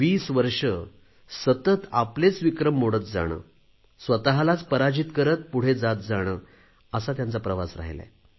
वीस वर्षं सतत आपलेच विक्रम मोडत जाणे स्वतलाच पराजित करत पुढे जात जाणे असा त्यांचा प्रवास राहीला आहे